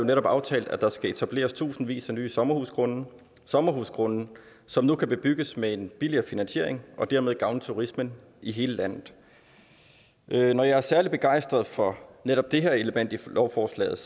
netop aftalt at der skal etableres tusindvis af nye sommerhusgrunde sommerhusgrunde som nu kan bebygges med en billigere finansiering og dermed gavne turismen i hele landet når jeg er særlig begejstret for netop det her element i lovforslaget